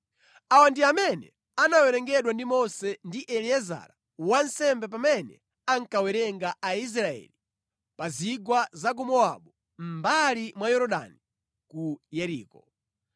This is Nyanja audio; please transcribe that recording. Awa ndi amene anawerengedwa ndi Mose ndi Eliezara wansembe pamene ankawerenga Aisraeli pa zigwa za ku Mowabu mʼmbali mwa Yorodani ku Yeriko.